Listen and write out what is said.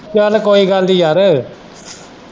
ਚੱਲ ਕੋਈ ਗੱਲ ਨਹੀਂ ਯਾਰ।